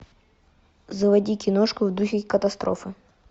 заводи киношку в духе катастрофы